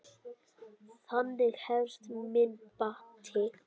Þannig hefst minn bati.